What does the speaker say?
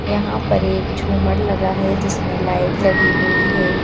यहां पर एक झुमर लगा है जिसमें लाइट लगी हुई है।